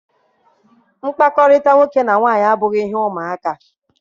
Mkpakọrịta nwoke na nwanyị abụghị ihe ụmụ aka.